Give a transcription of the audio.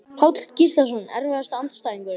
Páll Gíslason Erfiðasti andstæðingur?